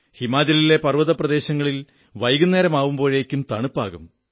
ഹിമാചലിലെ പർവ്വതപ്രദേശങ്ങളിൽ വൈകുന്നേരമാകുമ്പോഴേക്കും തണുപ്പാകും